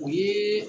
O ye